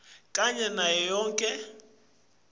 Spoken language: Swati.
kanye nayo yonkhe